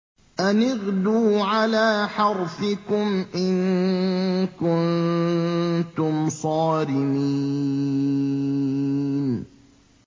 أَنِ اغْدُوا عَلَىٰ حَرْثِكُمْ إِن كُنتُمْ صَارِمِينَ